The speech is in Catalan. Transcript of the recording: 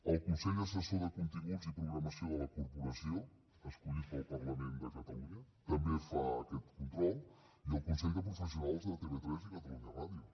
al consell assessor de continguts i de programació de la corporació escollit pel parlament de catalunya que també fa aquest control i el consell de professionals de tv3 i catalunya ràdio